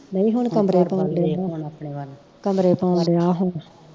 ਨਹੀਂ ਹੁਣ ਕਮਰੇ ਪਾਉਣ ਡਿਆ ਕਮਰੇ ਪਾਉਣ ਡਿਆ